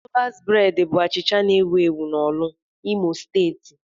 Lọvas breed bụ achịcha na-ewu ewu na Orlu, Imo steeti.